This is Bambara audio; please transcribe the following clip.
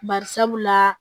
Bari sabula